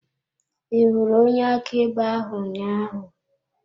Ị hụrụ onye akaebe ahụ ụnyaahụ?